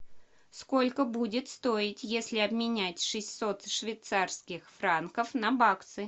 сколько будет стоить если обменять шестьсот швейцарских франков на баксы